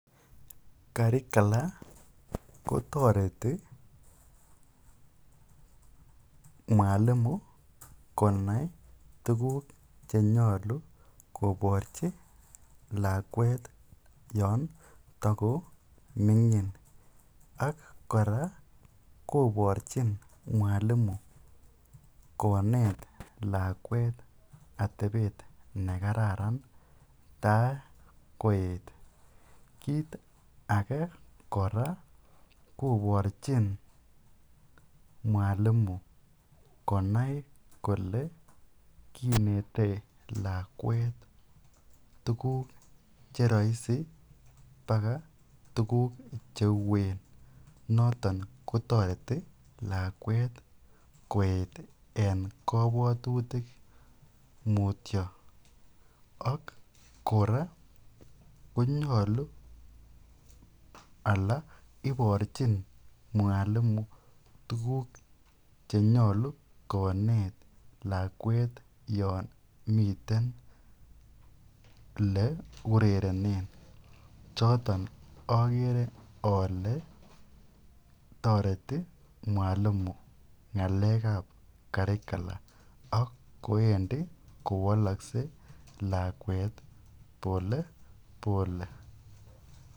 Curricular kotoreti mwalimu konai tukuk chenyolu koborchi lakwet yoon tokomingin ak kora koborchin mwalimu konet lakwet atebet nekararan tai koet, kiit ake kora koborchin mwalimu konai kolee kinete lakwet tukuk cheroisi bakaa tukuk cheuen noton kotoreti lakwet koet en kobwotutik mutio ak kora konyolu alaa iborchin mwalimu tukuk chenyolu konet lakwet yoon miten olee urerenen choton okere olee toreti mwalimu ngalekab currcular ak ko endi kowolokse lakwet pole pole.